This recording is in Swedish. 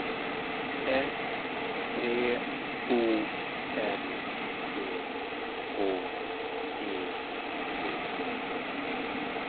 S T O L T H E T